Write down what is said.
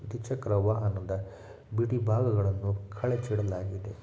ದ್ವಿಚಕ್ರವಾಹನದಿಂದ ಬಿಡೀ ಭಾಗವನ್ನು ಕಳಚಿ ಇಡಲಾಗಿದೆ .